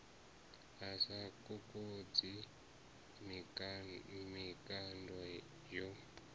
a sa kokodzi mikando yo